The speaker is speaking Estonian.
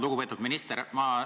Lugupeetud minister!